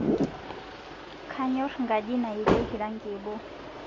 Kanyor ngaji nayalieki rangi ebo